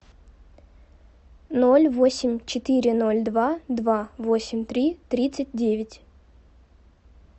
ноль восемь четыре ноль два два восемь три тридцать девять